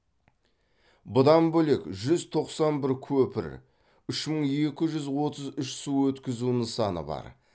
бұдан бөлек жүз тоқсан бір көпір үш мың екі жүз отыз үш су өткізу нысаны бар